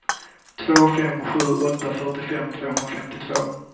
två fem sju åtta fyrtiofem tvåhundrafemtiotvå